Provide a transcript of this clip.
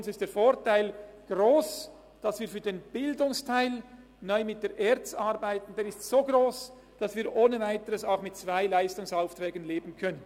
Der Vorteil, dass wir für den Bildungsteil neu mit der ERZ arbeiten, ist für uns so gross, dass wir ohne Weiteres auch mit zwei Leistungsaufträgen leben können.